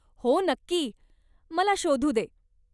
हो, नक्की, मला शोधू दे!